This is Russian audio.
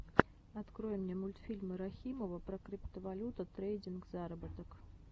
открой мне мультфильмы рахимова про криптовалюта трейдинг заработок